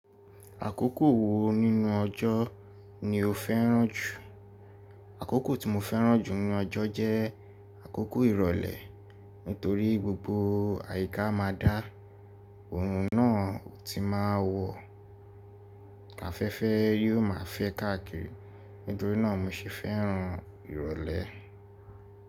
Àkókò wo nínú ọjọ́ ni o fẹ́ràn jù? Àkókò tí mo fẹ́ràn jù nínú ọjọ́ jẹ́ àkókò ìrọ̀lẹ́, nítorí gbogbo àyíká ma dá, ohun náà ó ti máa wọ̀, ka fẹ́ fẹ́ yóò máa fẹ́ káàkiri. Nítorí náà mi se fẹ́ràn ìrọ̀lẹ́.